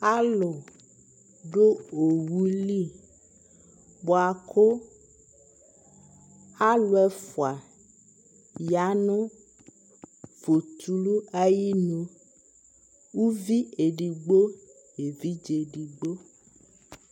alo do owu li boa ko alo ɛfua ya no fotulu ayinu uvi edigbo no evidze edigbo